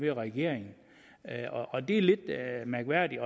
regeringen og det er lidt mærkværdigt